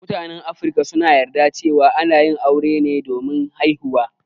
Mutan Afrika suna yarda cewa ana yin aure ne domin haihuwa.